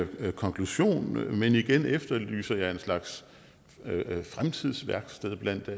konklusion men igen efterlyser jeg en slags fremtidsværksted blandt